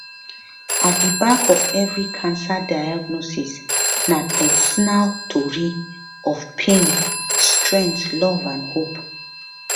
at di back of of every cancer diagnosis na personal tori of pain strength love and hope